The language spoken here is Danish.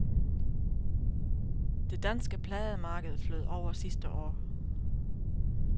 Det danske plademarked flød over sidste år.